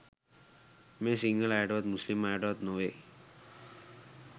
මේ සිංහල අයටවත් මුස්ලිම් අයටවත් නොවෙයි